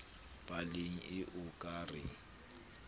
paleng ee o ka re